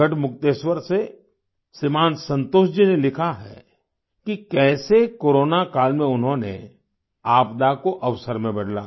गढ़मुक्तेश्वर से श्रीमान संतोष जी ने लिखा है कि कैसे कोरोना काल में उन्होंने आपदा को अवसर में बदला